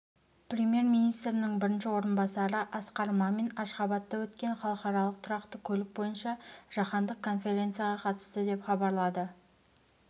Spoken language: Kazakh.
премьер-министрінің бірінші орынбасары асқар мамин ашхабадта өткен халықаралық тұрақты көлік бойынша жаһандық конференцияға қатысты деп хабарлады